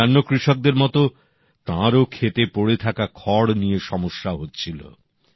অন্যান্য কৃষকদের মতো তাঁরও ক্ষেতে পড়ে থাকা খড় নিয়ে সমস্যা হচ্ছিলো